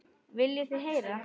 Viljið þið heyra?